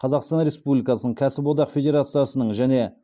қазақстан республикасының кәсіподақ федерациясының және